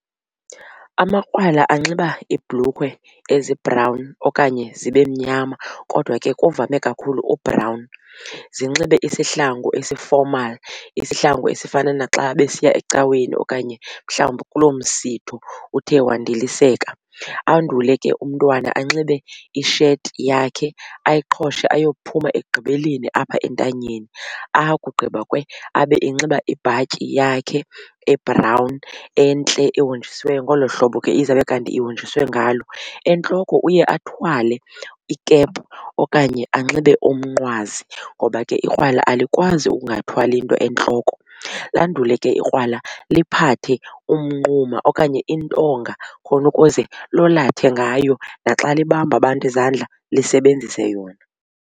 Amakrwala anxiba iibhulukhwe ezi-brown okanye zibe mnyama kodwa ke kuvame kakhulu u-brown. Zinxibe isihlangu esi-formal isihlangu esifana naxa besiya ecaweni okanye mhlawumbi kuloo msitho uthe wandiliseka. Andule ke umntwana anxibe isheti yakhe ayiqhoshe ayophuma ekugqibeleni apha entanyeni. Akugqiba kwe abe enxiba ibhatyi yakhe e-brown entle ehonjisiweyo ngolo hlobo ke izawube kanti ihonjiswe ngalo. Entloko uye athwale i-cap okanye anxibe umnqwazi ngoba ke ikrwala alikwazi ukungathwali nto entloko. Landule ke ikrwala liphathe umnquma okanye intonga khona ukuze lolathe ngayo naxa libamba abantu izandla lisebenzise yona.